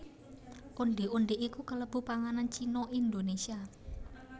Ondhé ondhé iku kalebu panganan Cina Indonésia